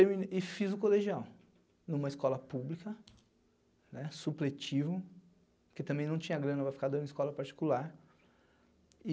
E fiz o colegial, em uma escola pública, né, supletivo, porque também não tinha grana para ficar dando escola particular. E